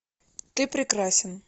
ты прекрасен